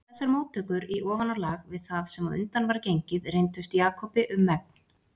Þessar móttökur í ofanálag við það sem á undan var gengið reyndust Jakobi um megn.